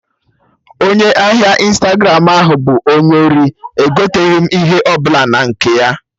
Onye ahịa Ịnstagramụ ahụ bụ onye ori, egoten'ihe ọbụla na nke ya!